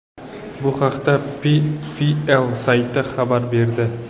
Bu haqda PFL sayti xabar berdi .